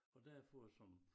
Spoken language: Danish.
Og derfor som